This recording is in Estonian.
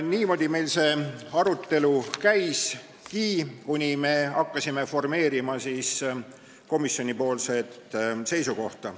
Niimoodi see arutelu meil käiski, kuni me hakkasime formeerima komisjoni seisukohta.